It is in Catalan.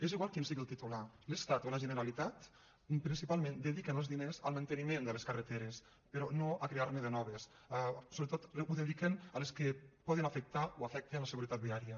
és igual qui en sigui el titular l’estat o la generalitat principalment dediquen els diners al manteniment de les carreteres però no a crear ne de noves sobretot ho dediquen a les que poden afectar o afecten la seguretat viària